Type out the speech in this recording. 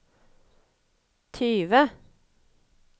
tyve